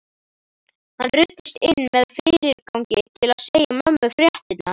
Hann ruddist inn með fyrirgangi til að segja mömmu fréttirnar.